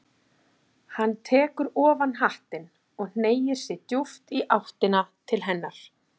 Hann tekur ofan hattinn og hneigir sig djúpt í áttina til hennar.